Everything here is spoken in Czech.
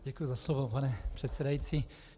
Děkuji za slovo, pane předsedající.